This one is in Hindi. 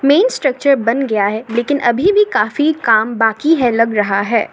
मेन्स स्ट्रक्चर बन गया है लेकिन अभी भी काफी काम बाकी है लग रहा है।